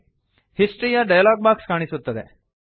history ಎಂಬ dialog box ಕಾಣಿಸುತ್ತದೆ